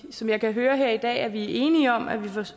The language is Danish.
som jeg kan høre her i dag vi er enige om